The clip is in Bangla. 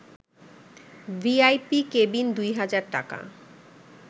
ভিআইপি কেবিন ২ হাজার টাকা